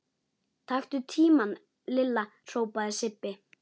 Taktu tímann Lilla! hrópaði Sibbi.